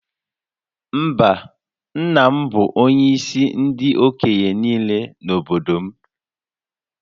Mba, nna m bụ onyeisi ndị okenye niile n’obodo m